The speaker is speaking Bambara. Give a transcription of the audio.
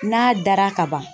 N'a dara ka ban